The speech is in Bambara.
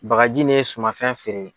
Bagaji ni suma fɛn feere.